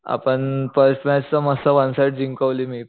आपण first match मस्त one side जिंकवली मी